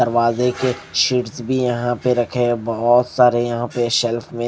दरवाजे के शीट्स भी यहां पे रखे हैं बहुत सारे यहां पे शेल्फ में--